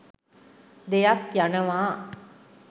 දෙයක් යනවා